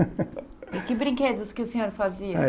E que brinquedos que o senhor fazia? É